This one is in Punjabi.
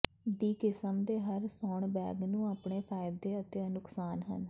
ਦੀ ਕਿਸਮ ਦੇ ਹਰ ਸੌਣ ਬੈਗ ਨੂੰ ਆਪਣੇ ਫ਼ਾਇਦੇ ਅਤੇ ਨੁਕਸਾਨ ਹਨ